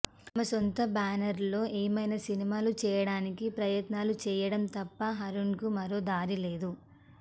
తమ సొంత బేనర్లో ఏమైనా సినిమాలు చేయడానికి ప్రయత్నాలు చేయడం తప్ప అరుణ్కు మరో దారి లేదు